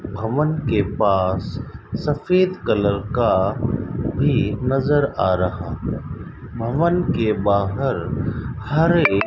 भवन के पास सफेद कलर का भी नजर आ रहा भवन के बाहर हरे --